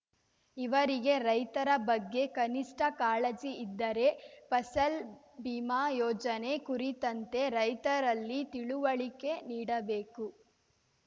ಇವರಿಗೆ ರೈತರ ಬಗ್ಗೆ ಕನಿಷ್ಠ ಕಾಳಜಿ ಇದ್ದರೆ ಫಸಲ್‌ ಬಿಮಾ ಯೋಜನೆ ಕುರಿತಂತೆ ರೈತರಲ್ಲಿ ತಿಳುವಳಿಕೆ ನೀಡಬೇಕು